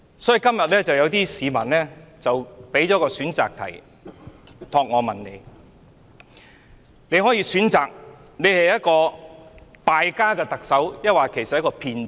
所以，今天有些市民託我向你提出一項選擇題：你是一位"敗家"的特首，還是一名騙子？